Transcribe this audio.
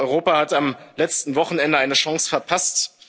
Europa hat am letzten Wochenende eine Chance verpasst.